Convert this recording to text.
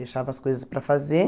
Deixava as coisas para fazer.